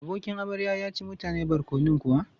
Abokin amarya ya ci mutane barkonon kuwa?